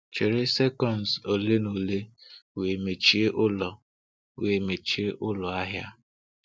Chere sekọnds ole na ole wee mechie ụlọ wee mechie ụlọ ahịa.